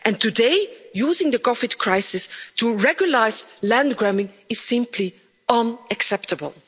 And today, using the COVID crisis to recognise land grabbing is simply unacceptable.